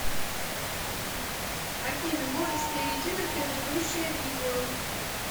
афина можешь перейти на предыдущее видео